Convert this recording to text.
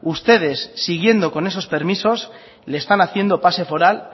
ustedes siguiendo con esos permisos le están haciendo pase foral